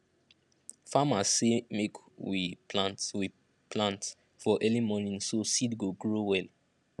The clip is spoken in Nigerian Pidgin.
farmers say make we plant we plant for early morning so seed go grow well